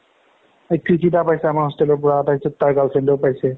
পাইছে আমাৰ hostel ৰ পাৰা তাৰপিছত তাৰ girl friend য়েও পাইছে